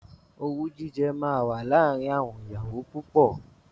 Owú jíjẹ máa wà láàárín àwọn ìyàwó púpọ̀.